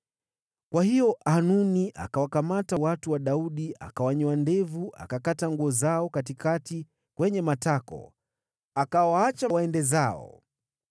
Kwa hiyo Hanuni akawakamata watu wa Daudi, akawanyoa ndevu akakata nguo zao katikati kwenye matako, akawaacha waende zao.